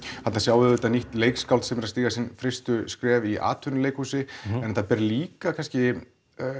þarna sjáum við auðvitað nýtt leikskáld sem er að stíga sín fyrstu skref í atvinnuleikhúsi en þetta ber líka kannski